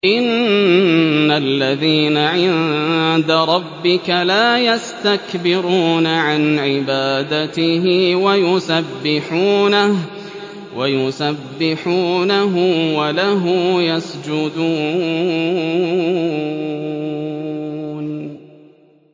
إِنَّ الَّذِينَ عِندَ رَبِّكَ لَا يَسْتَكْبِرُونَ عَنْ عِبَادَتِهِ وَيُسَبِّحُونَهُ وَلَهُ يَسْجُدُونَ ۩